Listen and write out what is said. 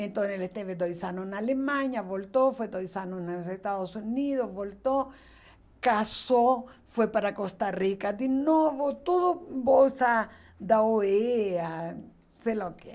Então ele esteve dois anos na Alemanha, voltou, foi dois anos nos Estados Unidos, voltou, casou, foi para Costa Rica de novo, tudo bolsa da ó ê á, sei lá o quê.